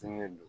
Fɛngɛ don